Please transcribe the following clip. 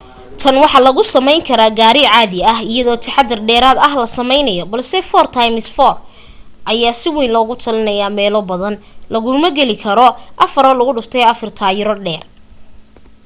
tan waxa lagu samayn karaa gaari caadi ah iyadoo taxaddar dheeraad ah la samaynayo balse 4x4 ayaa si wayn loogu talinaya meelo badan laguma geli karo 4x4 taayiro dheer